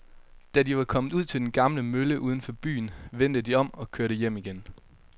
Da de var kommet ud til den gamle mølle uden for byen, vendte de om og kørte hjem igen.